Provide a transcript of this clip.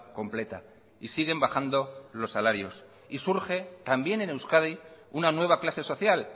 completa y siguen bajando los salarios y surge también en euskadi una nueva clase social